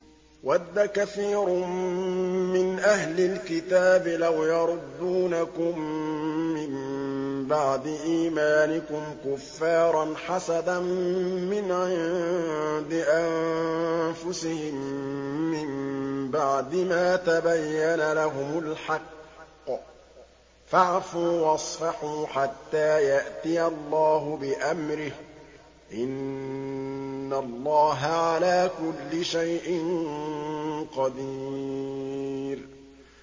وَدَّ كَثِيرٌ مِّنْ أَهْلِ الْكِتَابِ لَوْ يَرُدُّونَكُم مِّن بَعْدِ إِيمَانِكُمْ كُفَّارًا حَسَدًا مِّنْ عِندِ أَنفُسِهِم مِّن بَعْدِ مَا تَبَيَّنَ لَهُمُ الْحَقُّ ۖ فَاعْفُوا وَاصْفَحُوا حَتَّىٰ يَأْتِيَ اللَّهُ بِأَمْرِهِ ۗ إِنَّ اللَّهَ عَلَىٰ كُلِّ شَيْءٍ قَدِيرٌ